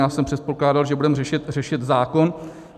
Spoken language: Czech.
Já jsem předpokládal, že budeme řešit zákon.